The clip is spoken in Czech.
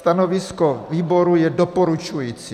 Stanovisko výboru je doporučující.